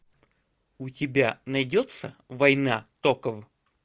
у тебя найдется война токов